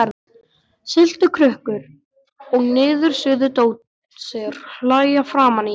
Sultukrukkur og niðursuðudósir hlæja framan í mig.